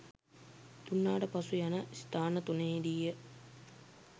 දුන්නාට පසු යන ස්ථාන තුනෙහිදීය.